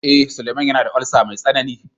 Eh, Suleman yana da "ulcer" mai tsanani.